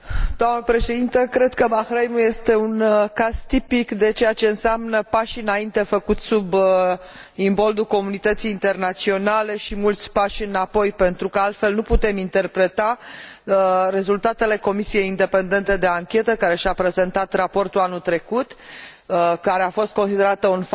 Cred că Bahrainul este un caz tipic de ceea ce înseamnă pași înainte făcuți sub imboldul comunității internaționale și mulți pași înapoi, pentru că altfel nu putem interpreta rezultatele comisiei independente de anchetă, care și a prezentat raportul anul trecut, care a fost considerat un fapt pozitiv.